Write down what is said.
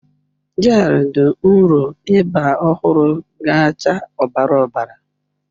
Gel dị nro ịba ọhụrụ ga-acha ọbara ọbara.